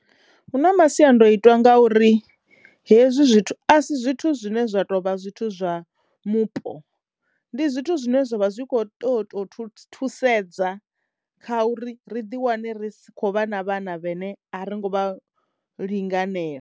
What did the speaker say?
Hu na masiandoitwa nga uri hezwi zwithu a si zwithu zwine zwa tovha zwithu zwa mupo ndi zwithu zwine zwavha zwi kho toyo to thuthi thusedza kha uri ri ḓi wane ri kho vha na vhana vhene a ringo vha linganela.